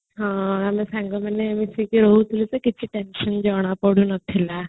ହଁ ମୋର ସାଙ୍ଗମାନେ କିଛି time free ରହିଲା ପଢୁନଥିଲା